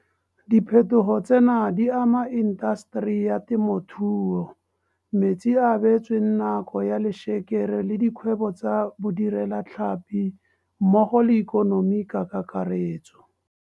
Diphetogo tsena di ama intaseteri ya temothuo, metsi a a beetsweng nako ya lešekere le dikgwebo tsa bodirelatlhapi mmogo le ikonomi ka kakaretso.